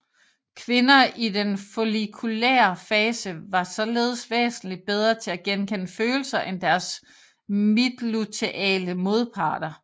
Kvinder i den follikulære fase var således væsentligt bedre til at gekende følelser end deres midtluteale modparter